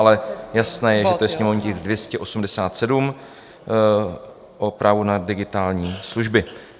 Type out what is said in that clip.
Ale jasné je, že to je sněmovní tisk 287 o právu na digitální služby.